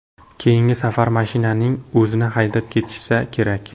Keyingi safar mashinaning o‘zini haydab ketishsa kerak.